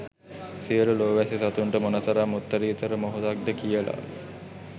සියලු ලෝ වැසි සතුන්ට මොනතරම් උත්තරීතර මොහොතක්ද කියලා.